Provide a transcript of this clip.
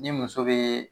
Ni muso be